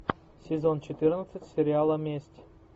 сезон четырнадцать сериала месть